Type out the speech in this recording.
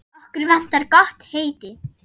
Okkur vantar gott heiti.